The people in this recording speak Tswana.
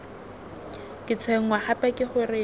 ke tshwenngwa gape ke gore